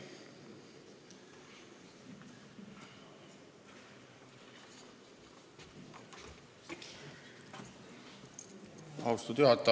Austatud juhataja!